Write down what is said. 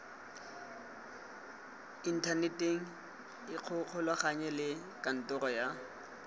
inthaneteng ikgolaganye le kantoro ya